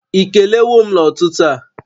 Ị kelewo m n'ụtụtụ a?